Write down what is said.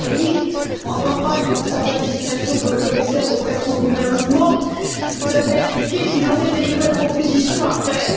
Tajani, en campagne pour sa redésignation comme commissaire auprès de son gouvernement, nous avait indiqué qu'il aurait des nouvelles propositions à faire.